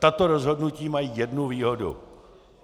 Tato rozhodnutí mají jednu výhodu.